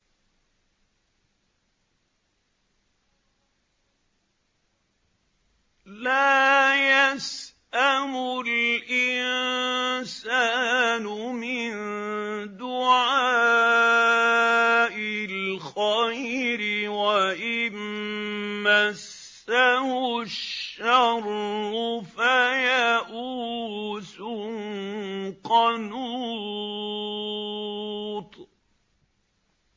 لَّا يَسْأَمُ الْإِنسَانُ مِن دُعَاءِ الْخَيْرِ وَإِن مَّسَّهُ الشَّرُّ فَيَئُوسٌ قَنُوطٌ